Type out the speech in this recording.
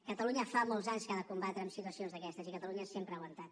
catalunya fa molts anys que ha de combatre en situacions d’aquestes i catalunya sempre ha aguantat